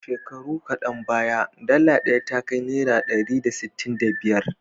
Shekaru kadan baya, dala ɗaya ta kai naira ɗari da sittin da biyar.